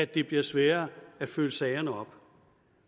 det bliver sværere at følge sagerne op